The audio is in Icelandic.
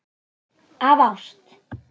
Af ást.